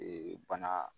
bana